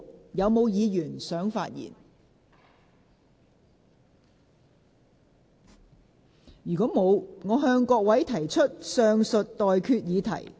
如果沒有議員想發言，我現在向各位提出上述待決議題。